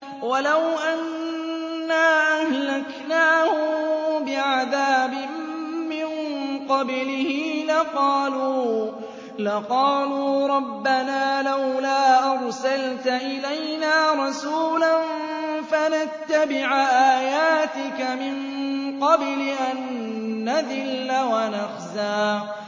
وَلَوْ أَنَّا أَهْلَكْنَاهُم بِعَذَابٍ مِّن قَبْلِهِ لَقَالُوا رَبَّنَا لَوْلَا أَرْسَلْتَ إِلَيْنَا رَسُولًا فَنَتَّبِعَ آيَاتِكَ مِن قَبْلِ أَن نَّذِلَّ وَنَخْزَىٰ